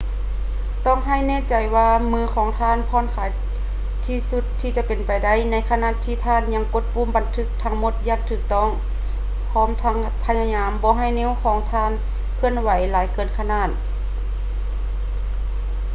ຕ້ອງໃຫ້ແນ່ໃຈວ່າມືຂອງທ່ານຜ່ອນຄາຍທີ່ສຸດເທົ່າທີ່ເປັນໄປໄດ້ໃນຂະນະທີ່ທ່ານຍັງກົດປຸ່ມບັນທຶກທັງໝົດຢ່າງຖືກຕ້ອງ ພ້ອມທັງພະຍາຍາມບໍ່ໃຫ້ນິ້ວມືຂອງທ່ານເຄື່ອນໄຫວຫຼາຍເກີນຂອບເຂດ